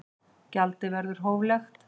Gjaldið verður hóflegt